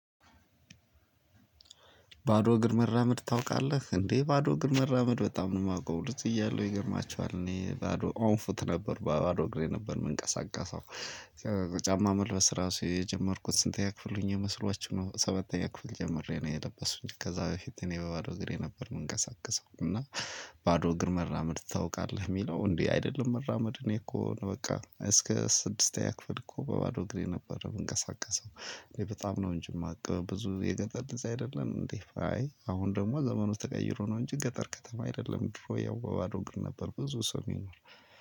ባዶ እግር መራመድ ታውቃለህ እንዴ ባዶ እግር መራመድ በጣም ነው የማውቀው ልጅ እያለሁ ይገርማችኋል እኔ ባዶ ኦንፉት ነበር ባዶ እግሬ ነበር የምንቀሳቀሰው። ጫማ መልበስ ራሱ የጀመርኩት ስንተኛ ክፍል ሆኜ መስሏችሁ ነው። ሰባተኛ ክፍል ጀምሬ ነው የለበስኩኝ ከዛ በፊት እኔ በባዶ እግሬ ነበር የምንቀሳቀሰው እና። ባዶ እግር መራመድ ታውቃለህ የሚለው እንዴ? አይደለም መራመድ እኔ እኮ በቃ እስከ ስድስተኛ ክፍል እኮ በባዶ እግሬ ነበር የምንቀሳቀሰው። እኔ በጣም ነው እንጂ የማውቅ ብዙ የገጠር ልጅ አይደለም እንዴ? አሁን ደግሞ ዘመኑ ተቀይሮ ነው እንጂ ገጠር ከተማ አይደለም። ድሮ ያው በባዶ እግር ነበር ብዙ ሰው